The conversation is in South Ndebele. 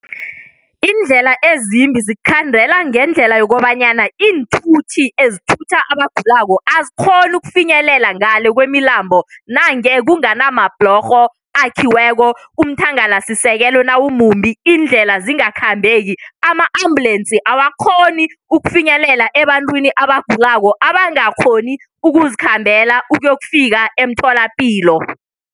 Iindlela ezimbi zikukhandela ngendlela yokobanyana iinthuthi ezithutha abagulako azikghoni ukufinyelela ngale kwemilambo nange kunganamabhlorho akhiweko umthangalasisekelo nawumumbi iindlela zingakhambeki ama-ambulensi awakghoni ukufinyelela ebantwini abagulako abangakghoni ukuzikhambela ukuyokufika emtholapilo.